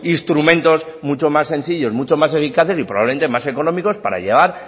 instrumentos mucho más sencillos mucho más eficaces y probablemente más económicos para llegar